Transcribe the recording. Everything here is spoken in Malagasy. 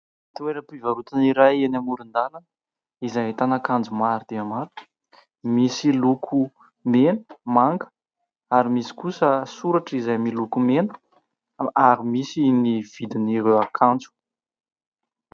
Toeram-pivarotana iray eny amoron-dàlana izay ahitana akanjo maro dia maro misy loko mena, manga ary misy kosa soratra izay miloko mena ary misy ny vidin'ireo akanjo.